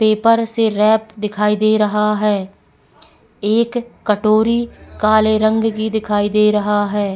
Paper से wrap दिखाई दे रहा है एक कटोरी काले रंग की दिखाई दे रहा है।